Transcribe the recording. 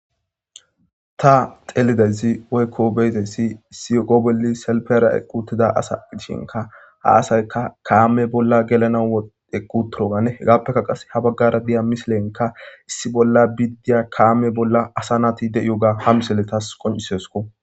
Ta xelizayssa woyko betizaysi issi oge bolla salfera eqi uttida asa gidishinka ha asayka kame bolla gelanaw eqi uttoganne hegappeka ha bagara diya misilenka issi bolla diya kame bolla asay de'iyoga ha misiley tas qoncisesko.